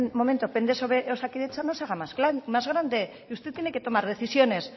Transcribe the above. momento pende sobre osakidetza no se haga más grande usted tiene que tomar decisiones